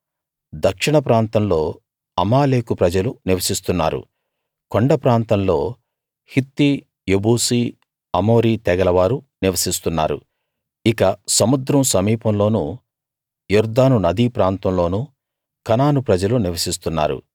దక్షిణ ప్రాంతంలో అమాలేకు ప్రజలు నివసిస్తున్నారు కొండ ప్రాంతంలో హిత్తీ యెబూసీ అమోరీ తెగల వారు నివసిస్తున్నారు ఇక సముద్రం సమీపంలోనూ యొర్దాను నదీ ప్రాంతంలోనూ కనాను ప్రజలు నివసిస్తున్నారు